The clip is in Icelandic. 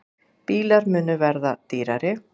Bílar munu verða dýrari